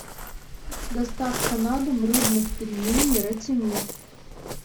доставка на дом рыбных пельменей ратимир